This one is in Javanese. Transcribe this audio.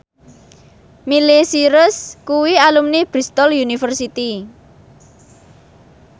Miley Cyrus kuwi alumni Bristol university